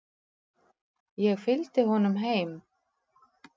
Ég fylgdi honum heim.